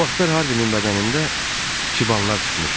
O vaxtlar Harvinin bədənində çibanlar çıxmışdı.